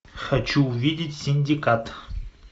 хочу увидеть синдикат